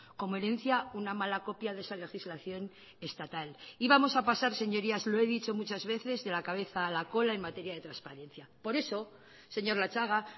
como herencia una mala copia de esa legislación estatal y vamos a pasar señorías lo he dicho muchas veces de la cabeza a la cola en materia de transparencia por eso señor latxaga